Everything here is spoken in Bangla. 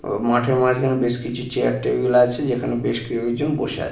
ও মাঠের মাঝখানে বেশ কিছু চেয়ার টেবিল আছে যেখানে বেশ কেউ একজন বসে আ--